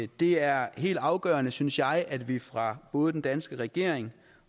det er helt afgørende synes jeg at vi fra både den danske regerings